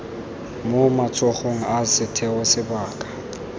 mo matsogong a setheo sebaka